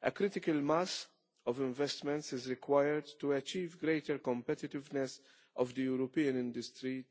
A critical mass of investments is required to achieve greater competitiveness for European industry